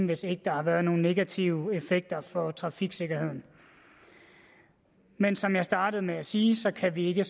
hvis ikke der har været nogen negativ effekt for trafiksikkerheden men som jeg startede med at sige kan vi ikke